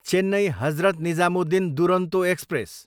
Chennai, Hazrat Nizamuddin Duronto express